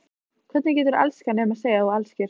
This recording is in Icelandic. Hvernig geturðu elskað nema segja að þú elskir?